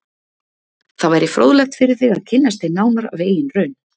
Það væri fróðlegt fyrir þig að kynnast þeim nánar af eigin raun.